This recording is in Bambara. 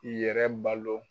I yɛrɛ balo